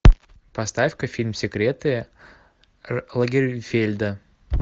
поставь ка фильм секреты лагерфельда